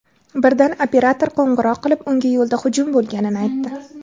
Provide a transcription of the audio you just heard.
Birdan operator qo‘ng‘iroq qilib, unga yo‘lda hujum bo‘lganini aytdi.